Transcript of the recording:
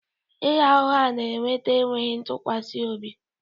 Ịgha ụgha na-eweta enweghị ntụkwasị obi